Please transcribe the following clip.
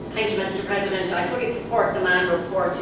Mr President, I fully support the Mann report.